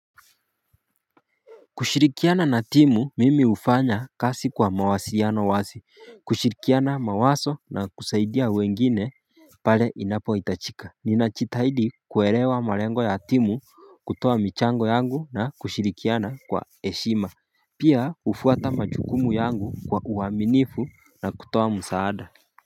Kushirikiana na timu mimi hufanya kazi kwa mawasiano wazi kushirikiana mawazo na kusaidia wengine pale inapo hitajika Ninajitahidi kuelewa malengo ya timu kutoa michango yangu na kushirikiana kwa heshima Pia hufuata majukumu yangu kwa uwaminifu na kutoa msaada.